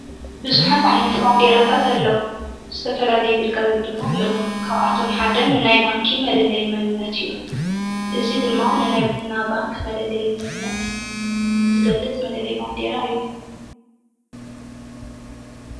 ብዙኃት ዓይነት ባንዲራታትኣለዉ ዝተፈላለይ የግልጋሎት ድማ ኣለዉን ካብኣቶም ሓደ ንናይ ባንኪ መለለይ ይመንነት እዩ እዙይ ድማ ንናይ ቦንና ባንክ መለለይ ይምንነት ዝገልጥ መለለይ ባንዴራ እዩ።